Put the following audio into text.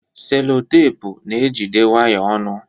Selotepụ na-ejide waya ọnụ.